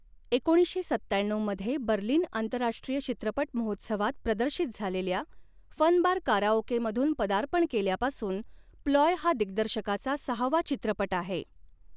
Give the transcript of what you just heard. एकोणीसशे सत्त्याण्णऊ मध्ये बर्लिन आंतरराष्ट्रीय चित्रपट महोत्सवात प्रदर्शित झालेल्या फन बार काराओकेमधून पदार्पण केल्यापासून प्लॉय हा दिग्दर्शकाचा सहावा चित्रपट आहे.